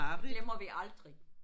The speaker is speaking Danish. Det glemmer vi aldrig